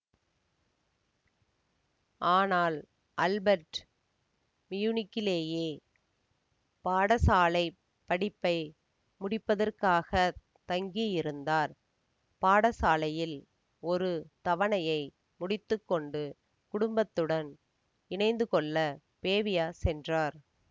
ஆனால் அல்பர்ட் மியூனிக்கிலேயே பாடசாலை படிப்பை முடிப்பதற்காகத் தங்கியிருந்தார் பாடசாலையில் ஒரு தவணையை முடித்து கொண்டு குடும்பத்துடன் இணைந்துகொள்ளப் பேவியா சென்றார்